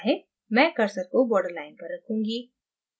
मैं cursor को borderline पर रखूंगी